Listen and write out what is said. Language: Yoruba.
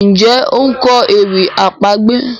Njé o nkọ ewì àpagbè?